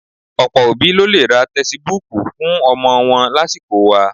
Ọ̀pọ̀ òbí ló lè ra tẹsibúùkù fún ọmọ wọn lásìkò wa